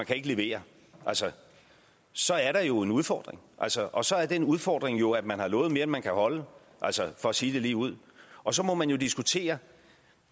kan levere så er der jo en udfordring og så og så er den udfordring jo at man har lovet mere end man kan holde for at sige det ligeud og så må man diskutere